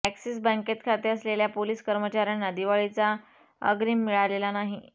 axis बॅंकेत खाते असलेल्या पोलीस कर्मचाऱ्यांना दिवाळीचा अग्रीम मिळालेला नाही